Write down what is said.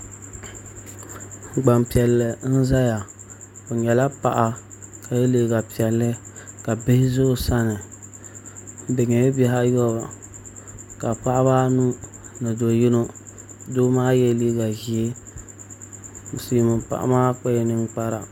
Gbanpiɛlli n ʒɛya o nyɛla paɣa ka yɛ liiga piɛlli ka bihi ʒɛ o sani bi nyɛla bihi ayobu ka paɣaba anu ni do yino doo maa yɛla liiga ʒiɛ silmiin paɣa maa kpala ninkpara